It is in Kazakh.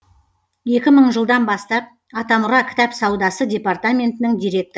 екі мың жылдан бастап атамұра кітап саудасы департаментінің директоры